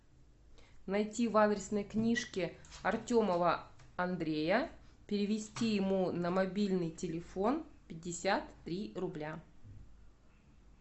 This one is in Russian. найти в адресной книжке артемова андрея перевести ему на мобильный телефон пятьдесят три рубля